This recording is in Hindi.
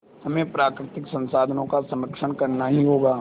हमें प्राकृतिक संसाधनों का संरक्षण करना ही होगा